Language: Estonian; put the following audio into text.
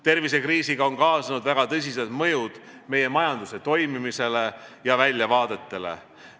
Tervisekriisiga on kaasnenud väga tõsised mõjud meie majanduse toimimisele ja väljavaadetele.